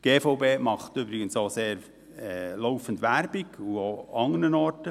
Die GVB macht übrigens auch laufend Werbung dafür, auch an anderen Orten.